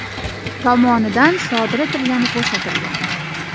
tomonidan sodir etilgani ko‘rsatilgan.